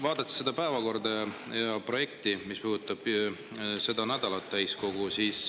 Vaatan seda päevakorda ja projekti, mis puudutab seda nädalat täiskogus.